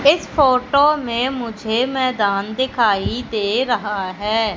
इस फोटो में मुझे मैदान दिखाई दे रहा है।